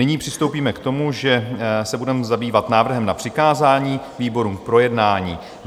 Nyní přistoupíme k tomu, že se budeme zabývat návrhem na přikázání výborům k projednání.